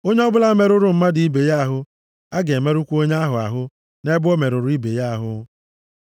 Onye ọbụla merụrụ mmadụ ibe ya ahụ, a ga-emerụkwa onye ahụ ahụ nʼebe o merụrụ ibe ya ahụ.